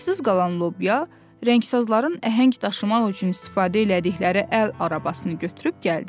Əlacısız qalan lobya rəngzazların əhəng daşımaq üçün istifadə elədikləri əl arabasını götürüb gəldi.